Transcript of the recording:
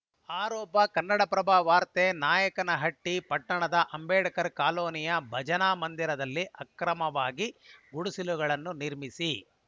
ಆರೋಪ ಕನ್ನಡಪ್ರಭ ವಾರ್ತೆ ನಾಯಕನಹಟ್ಟಿ ಪಟ್ಟಣದ ಅಂಬೇಡ್ಕರ್‌ ಕಾಲೋನಿಯ ಭಜನಾ ಮಂದಿರದಲ್ಲಿ ಅಕ್ರಮವಾಗಿ ಗುಡಿಸಲುಗಳನ್ನು ನಿರ್ಮಿಸಿ